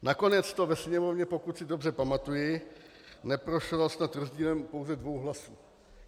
Nakonec to ve Sněmovně, pokud si dobře pamatuji, neprošlo snad rozdílem pouze dvou hlasů.